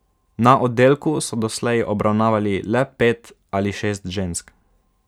Na oddelku so doslej obravnavali le pet ali šest žensk.